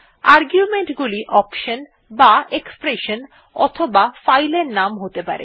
argument গুলি option বা expression অথবা ফাইল নাম হতে পারে